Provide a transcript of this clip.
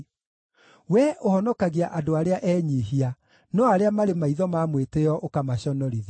Wee ũhonokagia andũ arĩa enyiihia, no arĩa marĩ maitho ma mwĩtĩĩo ũkamaconorithia.